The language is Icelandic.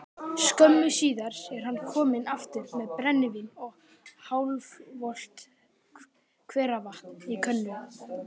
Skömmu síðar er hann kominn aftur með brennivín og hálfvolgt hveravatn í könnu.